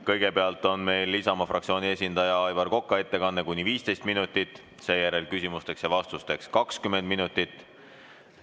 Kõigepealt on Isamaa fraktsiooni esindaja Aivar Koka ettekanne kuni 15 minutit, seejärel küsimusteks ja vastusteks 20 minutit.